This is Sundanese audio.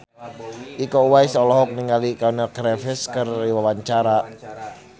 Iko Uwais olohok ningali Keanu Reeves keur diwawancara